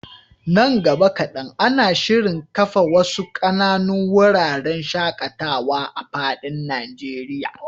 Nan gaba kaɗan, ana shirin kafa wasu ƙananun wuraren shaƙatawa a fadin Najeriya.